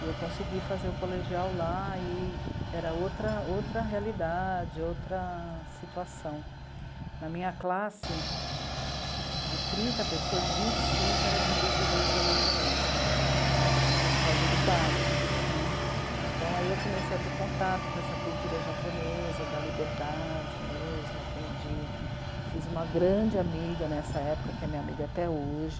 e eu consegui fazer o colegial lá e era outra, outra realidade, outra situação. Na minha classe, de trinta pessoas, vinte e cinco eram de descendência japonesa, por causa do bairro, né, então aí eu comecei a ter contato com essa cultura japonesa, da liberdade mesmo, aprendi, fiz uma grande amiga nessa época, que é minha amiga até hoje